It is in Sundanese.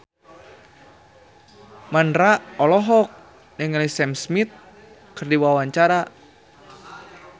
Mandra olohok ningali Sam Smith keur diwawancara